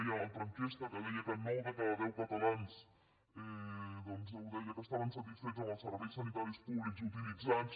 d’una altra enquesta que deia que nou de cada deu catalans deien que estaven satisfets amb els serveis sanitaris públics utilitzats